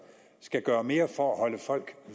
skal gøre mere for at holde folk